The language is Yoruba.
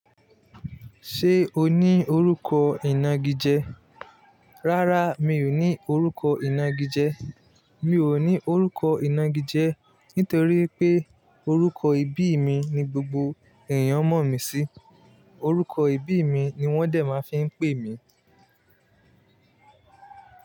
Ṣé o ní orúkọ ìnagijẹ? Rárá, mi ò ní orúkọ ìnagijẹ. Mi ò ní orúkọ ìnagijẹ nítorí pé orúkọ ìbí mi ni gbogbo èèyàn mọ̀ mí sí. Orúkọ ìbí mi ni wọ́n dẹ̀ máa fí ń pè mí.